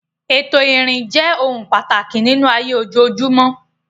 Ètò ìrìn jẹ́ ohun pàtàkì nínú ayé ojoojúmọ́.